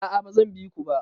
A'a ba zan bi ku ba.